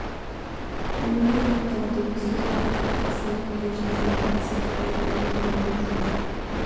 үңіле қарап таныды өз отарындағы қара саулық келе жатсам бір нәрсе қараяды не екен деп жоқ